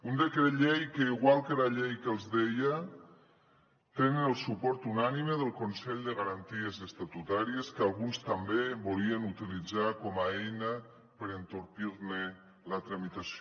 un decret llei que igual que la llei que els deia té el suport unànime del consell de garanties estatutàries que alguns també volien utilitzar com a eina per entorpir ne la tramitació